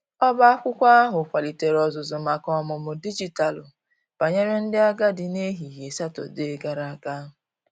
ọba akwụkwo ahu kwalitere ozuzu maka ọmụmụ dịjịtalụ banyere ndi agadi n'ehihie satọde gara aga.